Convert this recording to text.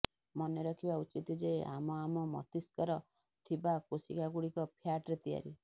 ମନେରଖିବା ଉଚିତ ଯେ ଆମ ଆମ ମସ୍ତିଷ୍କରେ ଥିବା କୋଶିକା ଗୁଡିକ ଫ୍ୟାଟରେ ତିଆରି